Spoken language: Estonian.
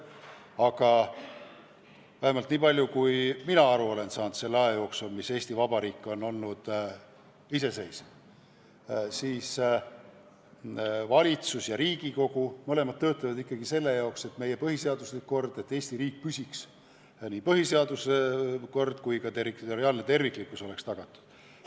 Aga mina olen küll aru saanud selle aja jooksul, mis Eesti Vabariik on olnud iseseisev, et valitsus ja Riigikogu mõlemad töötavad ikkagi selle nimel, et meie põhiseaduslik kord, et Eesti riik püsiks ja nii põhiseaduslik kord kui ka territoriaalne terviklikkus oleks tagatud.